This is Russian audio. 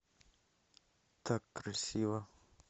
так красиво